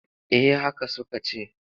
Eh haka suka ce.